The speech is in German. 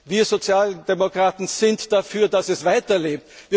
sterben. Wir Sozialdemokraten sind dafür, dass es